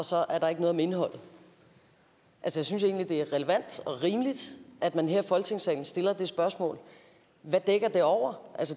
så er der ikke noget om indholdet jeg synes egentlig det er relevant og rimeligt at man her i folketingssalen stiller det spørgsmål hvad dækker det over